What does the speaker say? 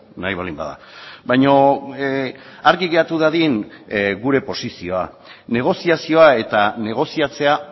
nahi baldin bada baina argi geratu dadin gure posizioa negoziazioa eta negoziatzea